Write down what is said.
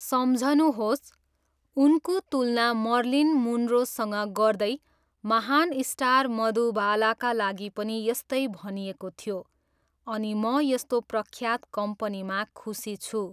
सम्झनुहोस्, उनको तुलना मर्लिन मुनरोसँग गर्दै महान स्टार मधुबालाका लागि पनि यस्तै भनिएको थियो अनि म यस्तो प्रख्यात कम्पनीमा खुसी छु!